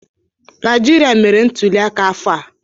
Naijiria mere ntụlịaka ‘afo a